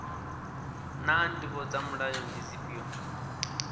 naa ndivho dza mulayo ndi dzifhio